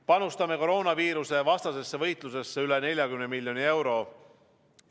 Panustame koroonaviirusevastasesse võitlusesse üle 40 miljoni euro.